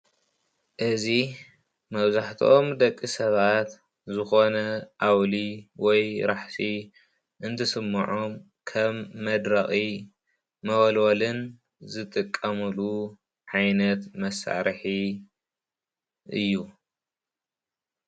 እዚ መብዛሕትኦም ደቂ ሰባት ዝኮነ ኣውሊ ወይ ራሕሲ እንትስመዖም ከም መድረቅን መወለወልን ዝጥቀምሉ ዓይነት መሳርሒ እዩ፡፡